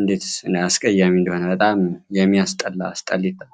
እንዴት አስቀያሚ እንደሆነ በጣም የሚያስጠላ አስጠልተው።